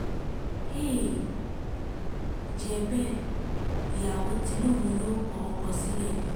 àì jẹ́ bẹ́ẹ̀ ìyàwó tí lòun yóò kọ̀ ọ́ sílẹ̀ ni